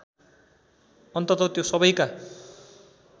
अन्तत त्यो सबैका